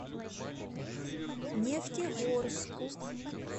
нефтегорску